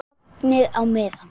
Sofnið á meðan.